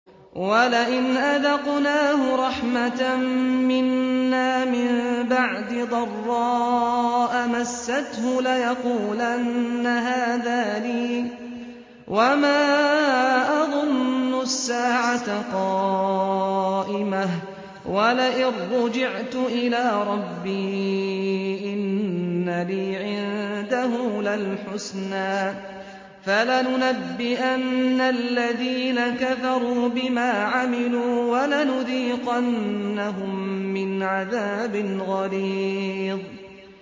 وَلَئِنْ أَذَقْنَاهُ رَحْمَةً مِّنَّا مِن بَعْدِ ضَرَّاءَ مَسَّتْهُ لَيَقُولَنَّ هَٰذَا لِي وَمَا أَظُنُّ السَّاعَةَ قَائِمَةً وَلَئِن رُّجِعْتُ إِلَىٰ رَبِّي إِنَّ لِي عِندَهُ لَلْحُسْنَىٰ ۚ فَلَنُنَبِّئَنَّ الَّذِينَ كَفَرُوا بِمَا عَمِلُوا وَلَنُذِيقَنَّهُم مِّنْ عَذَابٍ غَلِيظٍ